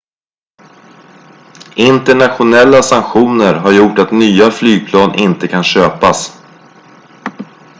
internationella sanktioner har gjort att nya flygplan inte kan köpas